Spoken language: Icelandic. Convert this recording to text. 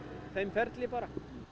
þeim ferli bara